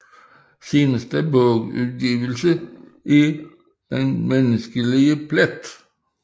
Seneste bogudgivelse er Den menneskelige plet